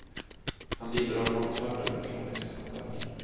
Han lider av magsmärtor och av kronisk tandvärk.